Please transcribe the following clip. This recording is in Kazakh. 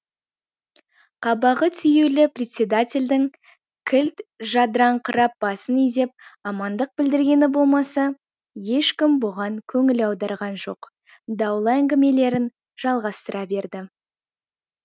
қабағы түюлі председательдің кілт жадыраңқырап басын изеп амандық білдіргені болмаса ешкім бұған көңіл аударған жоқ даулы әңгімелерін жалғастыра берді